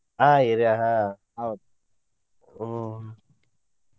ಆಹ್ area ah ಹೌದ ಹ್ಮ್.